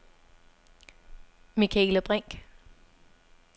Michaela Brinch